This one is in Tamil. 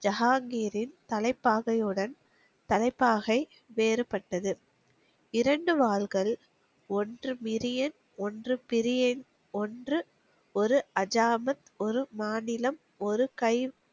ஜகாங்கிரீன் தலைப்பாகையுடன், தலைப்பாகை வேறுபட்டது. இரண்டு வாள்கள், ஒன்று மிரியன், ஒன்று பெரியன், ஒன்று ஒரு அஜாமத், ஒரு மாநிலம், ஒரு கைவ்